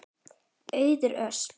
Auður Ösp.